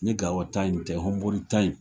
Ni Gao ta in tɛ Honbori ta in